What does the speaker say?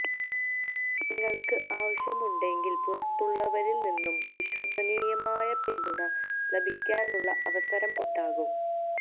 നിങ്ങൾക്ക് ആവശ്യമുണ്ടെങ്കിൽ പുറത്തുള്ളവരിൽ നിന്ന് വിശ്വസനീയമായ പിന്തുണ ലഭിക്കാനുള്ള അവസരം ഉണ്ടാകും